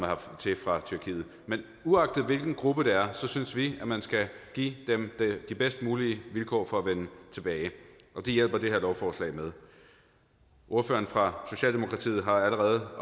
hertil fra tyrkiet men uagtet hvilken gruppe det er synes vi at man skal give dem de bedst mulige vilkår for at vende tilbage og det hjælper det her lovforslag med ordføreren for socialdemokratiet har allerede